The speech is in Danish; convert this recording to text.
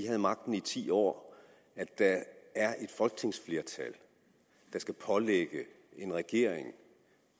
havde magten i ti år og at der er et folketingsflertal der skal pålægge en regering